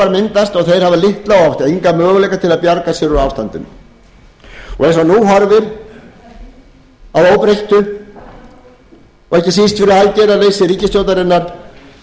þeir hafa litla og oft enga möguleika til að bjarga sér úr ástandinu eins og nú horfir að óbreyttu og ekki síst fyrir aðgerðarleysi ríkisstjórnarinnar